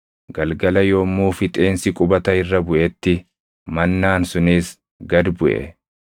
Galgala yommuu fixeensi qubata irra buʼetti mannaan sunis gad buʼe.